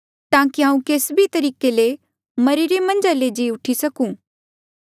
ताकि हांऊँ केसी भी तरीके ले मरिरे मन्झा ले जी उठी सकूं